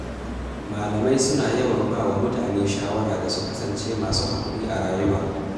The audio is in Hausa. Malamai suna yawan ba wa mutane shawara da su kasance masu hakuri a rayuwa.